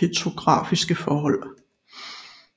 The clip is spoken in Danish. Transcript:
petrografiske forhold